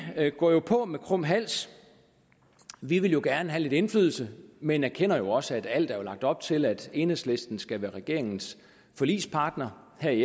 går jo på med krum hals vi vil gerne have lidt indflydelse men erkender også at der er lagt op til at enhedslisten skal være regeringens forligspartner her i